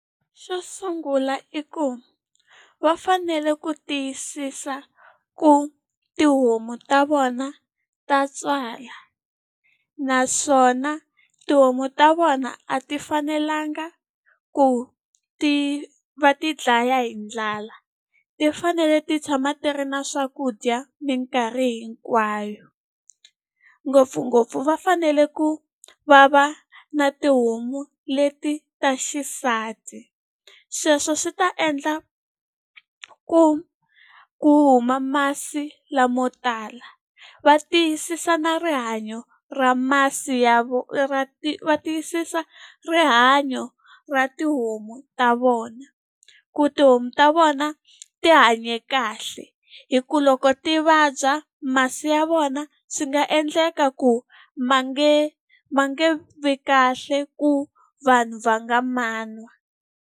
Xo sungula i ku va fanele ku tiyisisa ku tihomu ta vona ta tswala, naswona tihomu ta vona a ti fanelanga ku ti va ti dlaya hi ndlala. Ti fanele ti tshama ti ri na swakudya minkarhi hinkwayo. Ngopfungopfu va fanele ku va va na tihomu leti ta xisati, sweswo swi ta endla ku ku huma masi lamo tala. Va tiyisisa na rihanyo ra masi ya va tiyisisa rihanyo ra tihomu ta vona, ku tihomu ta vona ti hanye kahle. Hikuva loko ti vabya, masi ya vona swi nga endleka ku ma nge ma nge vi kahle ku vanhu va nga ma nwa.